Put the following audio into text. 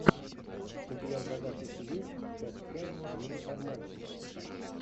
у тебя в загашнике есть часть пять милых обманщиц